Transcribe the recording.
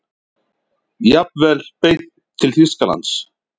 Jafnvel beint til Þýskalands.